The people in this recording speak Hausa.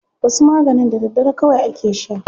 Wasu maganin da daddare kawai ake sha.